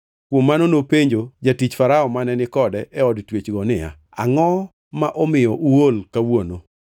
Kuom mano nopenjo jatich Farao mane ni kode e od twechgo niya, “Angʼo ma omiyo uol kawuono?”